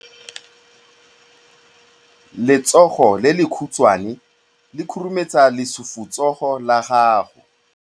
Letsogo le lekhutshwane le khurumetsa lesufutsogo la gago.